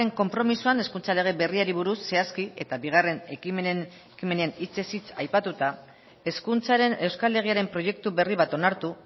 konpromisoan hezkuntza lege berriari buruz zehazki eta bigarren ekimenen hitzez hitz aipatuta hezkuntzaren euskal legearen proiektu berri bat onartu